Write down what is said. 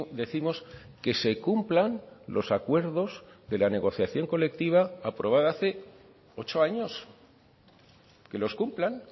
décimos que se cumplan los acuerdos de la negociación colectiva aprobada hace ocho años que los cumplan